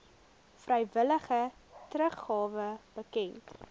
vrywillige teruggawe bekend